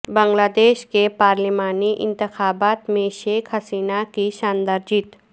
بنگلہ دیش کے پارلیمانی انتخابات میں شیخ حسینہ کی شاندار جیت